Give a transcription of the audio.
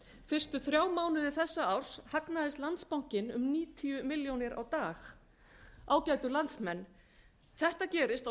fyrstu þrjá mánuði þessa árs hagnaðist landsbankinn um níutíu milljónir á dag ágætu landsmenn þetta gerist á